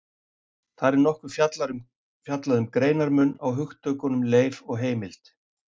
Þar er nokkuð fjallað um greinarmun á hugtökunum leif og heimild.